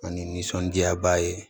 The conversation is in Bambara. Ani nisɔndiyaba ye